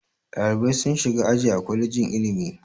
Ɗalibai sun shiga aji a kwalejin ilimi.